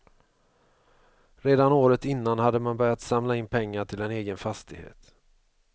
Redan året innan hade man börjat samla in pengar till en egen fastighet.